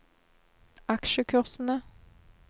aksjekursene